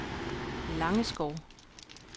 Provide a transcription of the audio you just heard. Langeskov